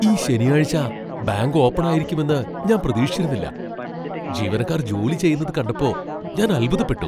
ഈ ശനിയാഴ്ച bank open ആയിരിക്കുമെന്ന് ഞാൻ പ്രതീക്ഷിച്ചിരുന്നില്ല, ജീവനക്കാർ ജോലി ചെയ്യുന്നത് കണ്ടപ്പോ ഞാൻ അത്ഭുതപ്പെട്ടു.